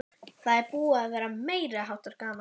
Það er búið að vera meiriháttar gaman!